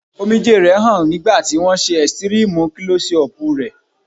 Omijé rẹ̀ hàn nígbà tí wón ṣe ẹ̀sítírímú Klọ́sí ọpù rẹ̀.